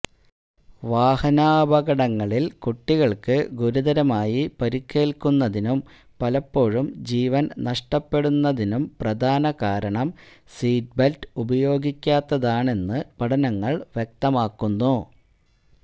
വാഹനാപകടങ്ങളിൽ കുട്ടികൾക്ക് ഗുരുതരമായി പരിക്കേൽക്കുന്നതിനും പലപ്പോഴും ജീവൻ നഷ്ടപ്പെടുന്നതിനും പ്രധാനകാരണം സീറ്റ് ബെൽറ്റ് ഉപയോഗിക്കാത്തതാണെന്ന് പഠനങ്ങൾ വ്യക്തമാക്കുന്നു